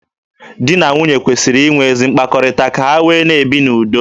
Di na nwunye kwesịrị inwe ezi mkpakọrịta ka ha wee na-ebi n'udo.